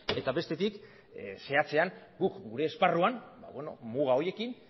eta bestetik zehatzean guk gure esparruan muga horiekin